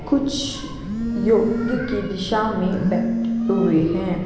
कुछ योग्य की दिशा में बैठे हुए हैं।